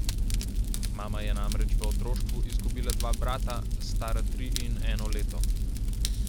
Mama je namreč v otroštvu izgubila dva brata, stara tri in eno leto.